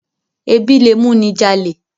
Ẹbí lẹ mú ní jalè.